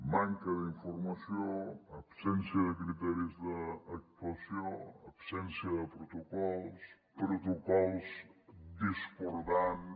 manca d’informació absència de criteris d’actuació absència de protocols protocols discordants